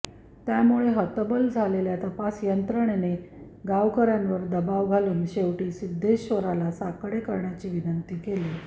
त्यामुळे हतबल झालेल्या तपास यंत्रणेने गावकऱयांवर दबाव घालून शेवटी सिद्धेश्वराला साकडे करण्याची विनंती केली